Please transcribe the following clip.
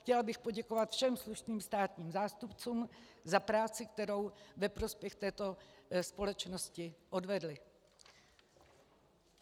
Chtěla bych poděkovat všem slušným státním zástupcům za práci, kterou ve prospěch této společnosti odvedli.